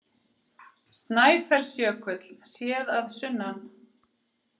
Snæfellsjökull, séð að sunnan.